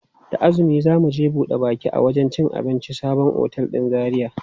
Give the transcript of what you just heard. Da azumi za mu je buɗe baki a wajen cin abincin sabon otel ɗin Zaria.